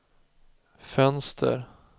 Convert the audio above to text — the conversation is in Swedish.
fönster